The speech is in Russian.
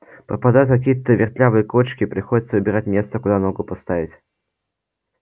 попадаются какие-то вертлявые кочки приходится выбирать место куда ногу поставить